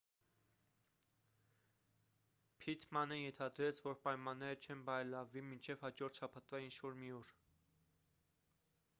փիթմանը ենթադրեց որ պայմանները չեն բարելավվի մինչև հաջորդ շաբաթվա ինչ-որ մի օր